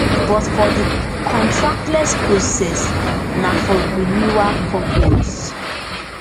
but for di contactless process na for renewal purpose